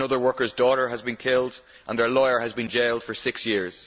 another worker's daughter has been killed and their lawyer has been jailed for six years.